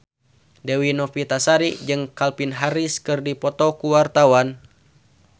Dewi Novitasari jeung Calvin Harris keur dipoto ku wartawan